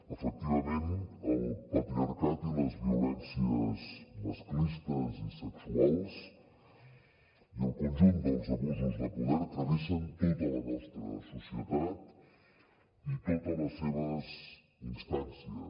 efectivament el patriarcat i les violències masclistes i sexuals i el conjunt dels abusos de poder travessen tota la nostra societat i totes les seves instàncies